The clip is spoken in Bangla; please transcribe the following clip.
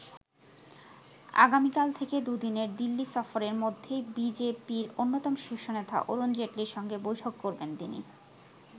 আগামীকাল থেকে দুদিনের দিল্লি সফরের মধ্যেই বি জে পি-র অন্যতম শীর্ষ নেতা অরুণ জেটলির সঙ্গে বৈঠক করবেন তিনি।